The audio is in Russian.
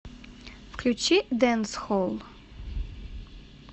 включи дэнсхолл